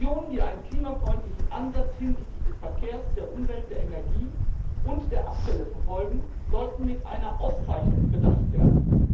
Regionen, die einen klimafreundlichen Ansatz hinsichtlich des Verkehrs, der Umwelt, der Energie und der Abfälle verfolgen, sollten mit einer Auszeichnung bedacht werden.